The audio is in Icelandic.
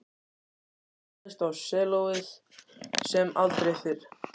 Hann hamaðist á sellóið sem aldrei fyrr.